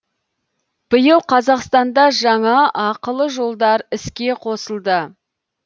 биыл қазақстанда жаңа ақылы жолдар іске қосылды